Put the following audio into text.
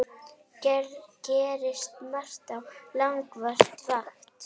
Gerist margt á langri vakt.